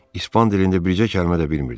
İspan dilində bircə kəlmə də bilmirdim.